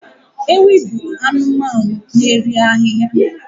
Ewi bụ anụmanụ na-eri ahịhịa